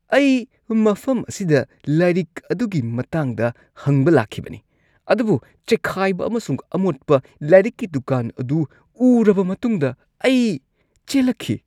ꯑꯩ ꯃꯐꯝ ꯑꯁꯤꯗ ꯂꯥꯏꯔꯤꯛ ꯑꯗꯨꯒꯤ ꯃꯇꯥꯡꯗ ꯍꯪꯕ ꯂꯥꯛꯈꯤꯕꯅꯤ ꯑꯗꯨꯕꯨ ꯆꯈꯥꯏꯕ ꯑꯃꯁꯨꯡ ꯑꯃꯣꯠꯄ ꯂꯥꯏꯔꯤꯛꯀꯤ ꯗꯨꯀꯥꯟ ꯑꯗꯨ ꯎꯔꯕ ꯃꯇꯨꯡꯗ ꯑꯩ ꯆꯦꯜꯂꯛꯈꯤ꯫